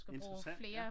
Interessant ja